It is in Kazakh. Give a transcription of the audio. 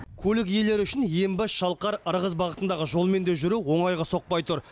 көлік иелері үшін ембі шалқар ырғыз бағытындағы жолмен де жүру оңайға соқпай тұр